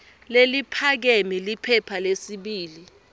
leliphakeme liphepha lesibili